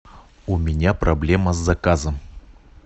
у меня проблема с заказом